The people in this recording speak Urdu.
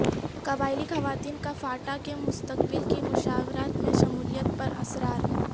قبائلی خواتین کا فاٹا کے مستقبل کی مشاورت میں شمولیت پر اصرار